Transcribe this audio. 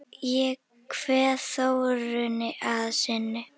Ég kveð Þórunni að sinni.